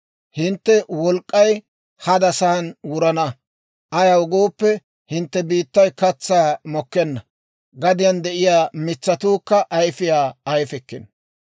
Hintte wolk'k'ay hadasan wurana; ayaw gooppe, hintte biittay katsaa mokkenna; gadiyaan de'iyaa mitsatuukka ayfiyaa ayfikkino.